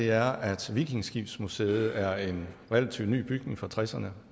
er at vikingeskibsmuseet er en relativt ny bygning fra nitten tresserne